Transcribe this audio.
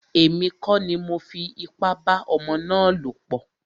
Èmi kọ́ ni mọ fi ipá bá ọmọ ná lọ̀ pọ̀.